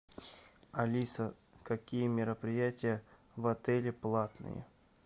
алиса какие мероприятия в отеле платные